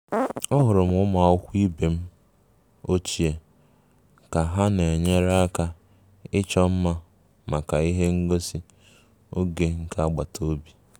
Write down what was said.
Ahụrụ m ụmụ akwụkwọ ibe m ochie ka ha na-enyere aka ịchọ mma maka ihe ngosi oge nke agbataobi